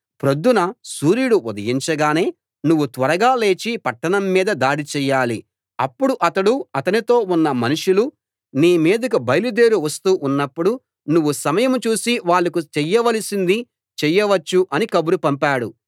ప్రొద్దున సూర్యుడు ఉదయించగానే నువ్వు త్వరగా లేచి పట్టణం మీద దాడి చెయ్యాలి అప్పుడు అతడు అతనితో ఉన్న మనుషులు నీ మీదికి బయలుదేరి వస్తూ ఉన్నప్పుడు నువ్వు సమయం చూసి వాళ్ళకు చెయ్యవలసింది చెయ్యవచ్చు అని కబురు పంపాడు